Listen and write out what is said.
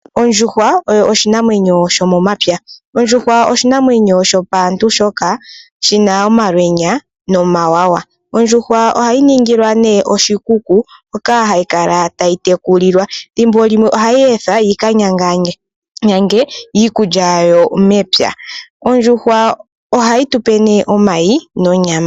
Ondjuhwa oyo oshinamwenyo shomomapya. Ondjuhwa oshinamwenyo shopaantu shoka shina omalwenya nomawawa. Ondjuhwa ohayi ningilwa oshikuku moka hayi kala tayi tekulilwa. Ethimbo limwe ohayi ethwa yi ka yange iikulya yayo mepya. Ondjuhwa ohayi tupe omayi nonyama.